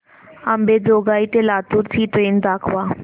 अंबेजोगाई ते लातूर ची ट्रेन दाखवा